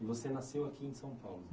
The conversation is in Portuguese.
E você nasceu aqui em São Paulo?